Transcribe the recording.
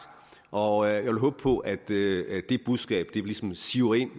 og jeg vil håbe på at det budskab ligesom siver ind